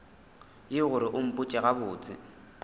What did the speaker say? yeo gore o mpotše gabotse